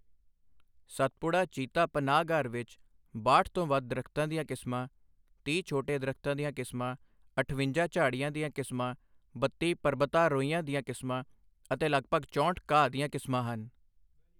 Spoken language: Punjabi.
ਸਤਪੁੜਾ ਚੀਤਾ ਪਨਾਹਗਾਰ ਵਿੱਚ ਬਾਹਠ ਤੋਂ ਵੱਧ ਦਰੱਖਤਾਂ ਦੀਆਂ ਕਿਸਮਾਂ, ਤੀਹ ਛੋਟੇ ਦਰੱਖਤਾਂ ਦੀਆਂ ਕਿਸਮਾਂ, ਅਠਵੰਜਾ ਝਾੜੀਆਂ ਦੀਆਂ ਕਿਸਮਾਂ, ਬੱਤੀ ਪਰਬਤਾਰੋਹੀਆਂ ਦੀਆਂ ਕਿਸਮਾਂ ਅਤੇ ਲਗਭਗ ਚੋਂਹਠ ਘਾਹ ਦੀਆਂ ਕਿਸਮਾਂ ਹਨ।